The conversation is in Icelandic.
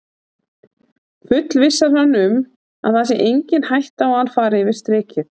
Fullvissar hann um að það sé engin hætta á að hann fari yfir strikið.